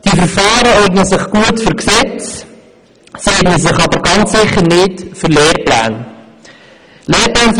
Diese Verfahren eignen sich gut für Gesetze, sie eignen sich aber ganz sicher nicht für Lehrpläne.